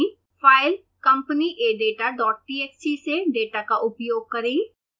file companyadatatxt से data का उपयोग करें